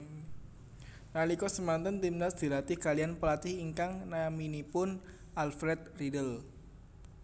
Nalika semanten Timnas dilatih kaliyan pelatih ingkang naminipun Alfred Riedl